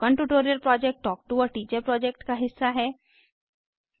spoken tutorial project talk to a teacher project का हिस्सा है